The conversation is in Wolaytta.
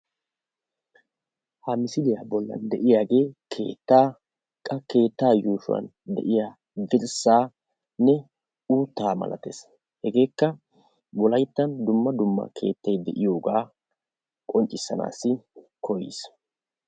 Ha misiliya bollan de"iyagee keettaa, qa keetta yuushuwan de"iya dirssaanne uuttaa malatees hegeekka wolayittan dumma dumma keettay de"iyogaa qonccissanaassi koyis.